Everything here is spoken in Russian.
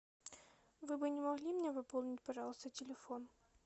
вы бы не могли мне выполнить пожалуйста телефон